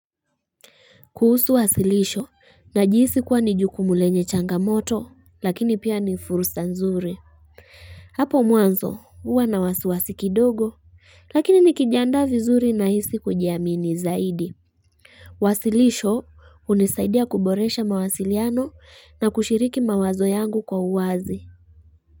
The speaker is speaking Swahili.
Kuhusu wasilisho najihisi kuwa ni jukumu lenye changamoto lakini pia ni fursa nzuri Hapo mwanzo huwa na wasiwasi kidogo lakini nikijandaa vizuri nahisi kujiamini zaidi Wasilisho hunisaidia kuboresha mawasiliano na kushiriki mawazo yangu kwa uwazi.